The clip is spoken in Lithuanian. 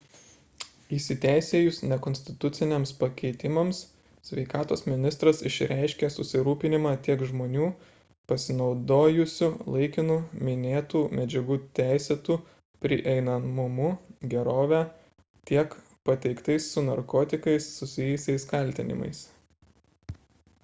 įsiteisėjus nekonstituciniams pakeitimams sveikatos ministras išreiškė susirūpinimą tiek žmonių pasinaudojusių laikinu minėtų medžiagų teisėtu prieinamumu gerove tiek pateiktais su narkotikais susijusiais kaltinimais